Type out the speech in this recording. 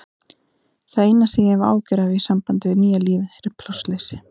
Það eina sem ég hef áhyggjur af í sambandi við nýja lífið er plássleysi.